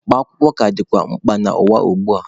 Mkpa akwụkwọ ka dịkwa mkpa n'ụwa ugbua.